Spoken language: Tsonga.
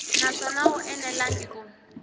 naswona a wu enelangi ku